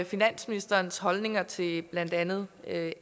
finansministerens holdninger til blandt andet